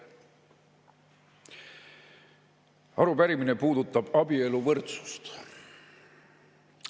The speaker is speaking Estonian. Arupärimine puudutab abieluvõrdsust.